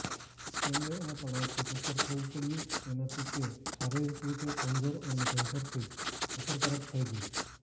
તેમને આ તણાવથી પસાર થવુ પડ્યુ તેનાથી તે શારીરિકરીતે કમજોર અને કેન્સરથી અસરકારક થઈ ગઈ